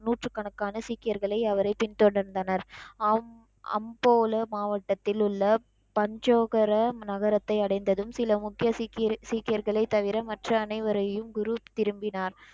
நூற்றுக்கணக்கான சீக்கியர்கள் அவரை பின் தொடர்ந்தனர், அம் அம்போல மாவட்டத்திலுள்ள பண்ஜோகர நகரத்தை அடைந்ததும் சில முக்கிய சீக் சீக்கியர்களை தவிர மற்ற அனைவரையும் குரு திரும்பினான்,